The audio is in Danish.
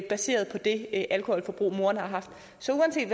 baseret på det alkoholforbrug moren har haft så uanset